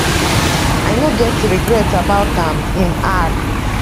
i no get regrets about am im add